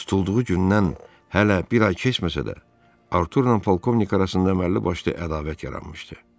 Tutulduğu gündən hələ bir ay keçməsə də, Arturla polkovnik arasında əməlli-başlı ədavət yaranmışdı.